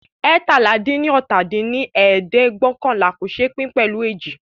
eétalá-dín-ní-ọ́ta dín ní ẹ̀ẹ́dẹ́gbẹ́ọ̀kànlá kò ṣé pín pẹ̀lú ééji